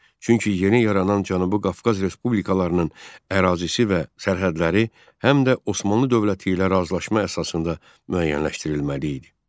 Çünki yeni yaranan Cənubi Qafqaz respublikalarının ərazisi və sərhədləri həm də Osmanlı dövləti ilə razılaşma əsasında müəyyənləşdirilməli idi.